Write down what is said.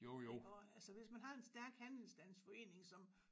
Iggå altså hvis man har en stærk handelsstandsforening som